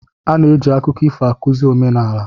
A na-eji akụkọ ifo akụzi omenala.